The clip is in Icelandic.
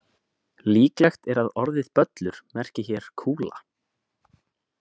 "Líklegt er að orðið böllur merki hér ""kúla."